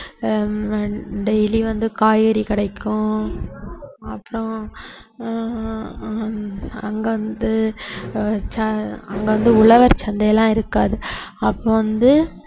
ஆஹ் ஹம் daily வந்து காய்கறி கடைக்கும் அப்புறம் ஆஹ் ஹம் அங்க வந்து அஹ் ச~ அங்க வந்து உழவர் சந்தை எல்லாம் இருக்காது அப்ப வந்து